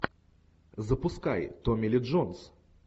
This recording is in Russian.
запускай томми ли джонс